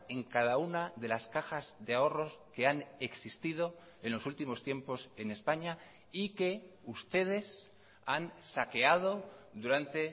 en cada una de las cajas de ahorros que han existido en los últimos tiempos en españa y que ustedes han saqueado durante